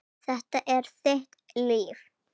Þetta er þitt líf